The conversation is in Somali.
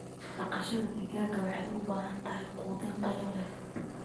Dhaqashada digaaga waxay u baahan tahay quudin tayo leh.